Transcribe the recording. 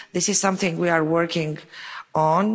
This is something we are working